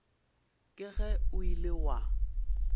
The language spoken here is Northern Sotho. ke ge o ile wa